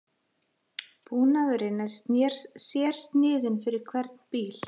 Búnaðurinn er sérsniðinn fyrir hvern bíl